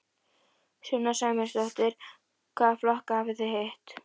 Sunna Sæmundsdóttir: Hvaða flokka hafið þið hitt?